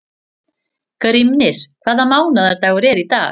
Grímnir, hvaða mánaðardagur er í dag?